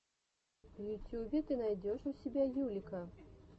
в ютюбе ты найдешь у себя юлика